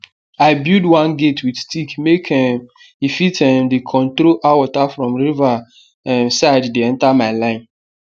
i build one gate with stick make um e fit um dey control how water from river um side dey enter my line